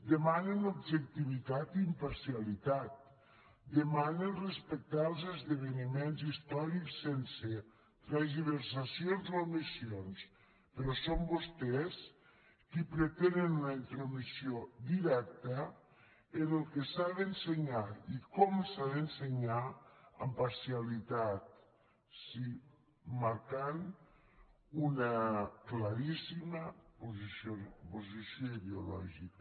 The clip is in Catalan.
demanen objectivitat i imparcialitat demanen respectar els esdeveniments històrics sense tergiversacions o omissions però són vostès qui pretenen una intromissió directa en el que s’ha d’ensenyar i com s’ha d’ensenyar amb parcialitat sí marcant una claríssima posició ideològica